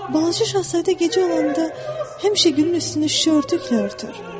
Balaca Şahzadə gecə olanda həmişə gülün üstünü şüşə örtüklə örtər.